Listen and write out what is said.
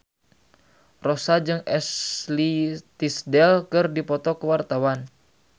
Rossa jeung Ashley Tisdale keur dipoto ku wartawan